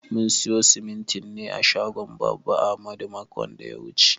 Mun siya simintin ne a shagon baba ahmadu makon da ya wuche.